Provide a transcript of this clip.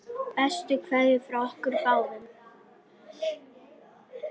Piprið að lokum.